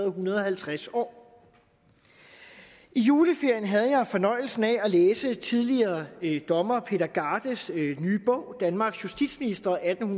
en hundrede og halvtreds år i juleferien havde jeg fornøjelsen af at læse tidligere dommer peter gardes nye bog danmarks justitsministre atten